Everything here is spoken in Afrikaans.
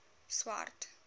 swart